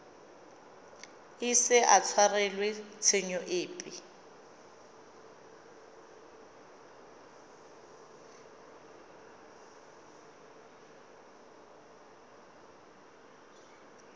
ise a tshwarelwe tshenyo epe